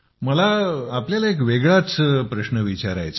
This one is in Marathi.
मला तुम्हाला एक वेगळाच प्रश्न विचारायचा आहे